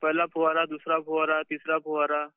पहिला फवारा, दुसरा फवारा, तिसरा फवारा